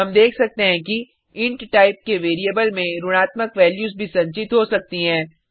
हम देख सकते हैं कि इंट टाइप के वेरिएबल में ऋणात्मक वैल्यूज भी संचित हो सकती हैं